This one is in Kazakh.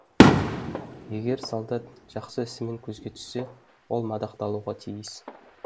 егер солдат жақсы ісімен көзге түссе ол мадақталуға тиіс